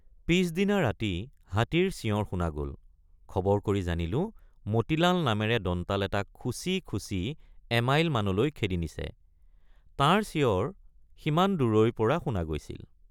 পিচদিনা ৰাতি হাতীৰ চিঞৰ শুনা গল খবৰ কৰি জানিলোঁমতিলাল নামেৰে দন্তাল এটাক খুচি খুচি এমাইলমানলৈ খেদি নিছে—তাৰ চিঞৰ সিমান দূৰৈৰপৰা শুনা গৈছিল।